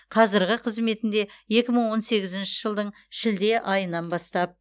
қазірғі қызметінде екі мың он сегізінші жылдың шілде айынан бастап